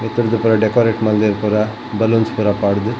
ಮಿತ್ತುರ್ದು ಪೂರ ಡೆಕೊರೇಟ್ ಮಲ್ದೆರ್ ಪೂರ ಬಲೂನ್ಸ್ ಪೂರ ಪಾಡ್ದ್